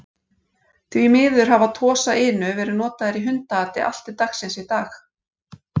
Því miður hafa Tosa Inu verið notaðir í hundaati allt til dagsins í dag.